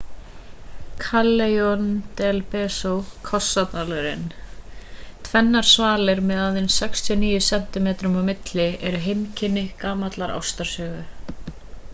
callejon del beso kossadalurinn. tvennar svalir með aðeins 69 sentímetrum á milli eru heimkynni gamallar ástarsögu